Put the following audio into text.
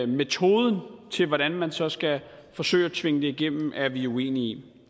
metoden til hvordan man så skal forsøge at tvinge det igennem er vi uenige i